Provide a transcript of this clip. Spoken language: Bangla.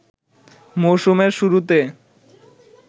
মৌসুমের শুরুতে